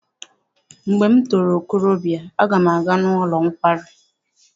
Mgbe m toro okorobịa aga m aga n'ụlọ nkwari.